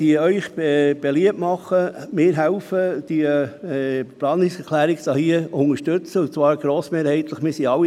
Ich möchte Ihnen beliebt machen, meine Planungserklärung grossmehrheitlich zu unterstützen.